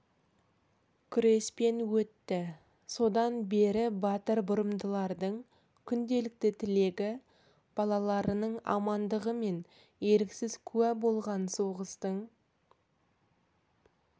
күреспен өтті содан бері батыр бұрымдылардың күнделікті тілегі балаларының амандығы мен еріксіз куә болған соғыстың